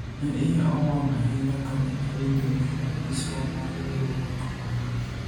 ne iya owang' ahinya kane awinjo ni apiswa mar riwruok owang'